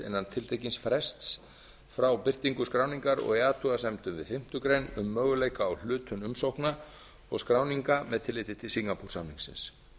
innan tiltekins frests frá birtingu skráningar og athugasemdum við fimmtu grein um möguleika á hlutum umsókna og skráninga með tilliti til singapoore samningsins